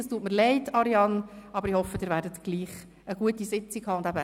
Es tut mir leid, aber ich hoffe, Sie werden dennoch eine gute Sitzung abhalten.